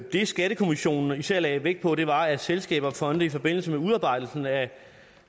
det skattekommissionen især lagde vægt på var at selskaber og fonde i forbindelse med udarbejdelsen af